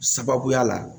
Sababuya la